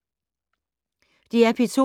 DR P2